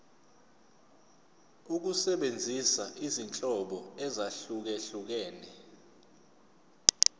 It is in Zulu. ukusebenzisa izinhlobo ezahlukehlukene